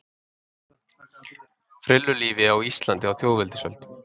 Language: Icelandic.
Frillulífi á Íslandi á þjóðveldisöld.